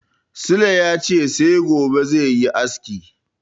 Sule ya ce sai gobe zai yi aski.